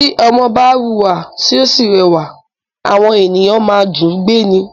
Tí ọmọ bá wúra tí ó sì rẹwà, àwọn ènìyàn má ń dùú gbé ni